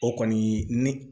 O kɔni ne